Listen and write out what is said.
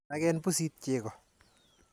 Naken pusit chego.